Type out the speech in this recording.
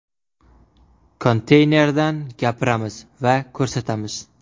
Konteynerdan gapiramiz va ko‘rsatamiz.